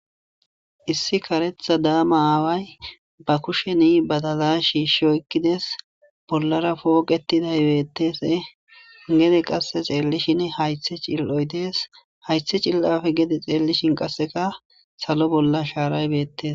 issi karetha daama aaway ba kusheni badaza shi shoykkides bollara pooqetidaybeettese gede qasse ceellishinn haythe cil7oy dees haythe cil7afe gede xeellishin qasseka salo bolla shaaraybeettes